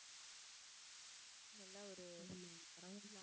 நல்லா ஒரு